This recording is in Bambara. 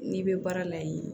N'i bɛ baara la yen